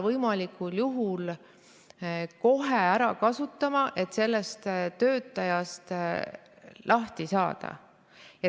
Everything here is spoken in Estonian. ... võimalikul juhul kohe ära kasutama selleks, et sellest töötajast lahti saada.